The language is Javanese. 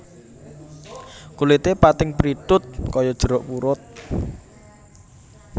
Kulite pating prithut kaya jeruk purut